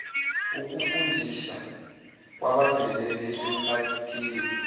wokufundisa kwabavele besemkhakheni